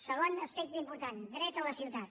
segon aspecte important dret a la ciutat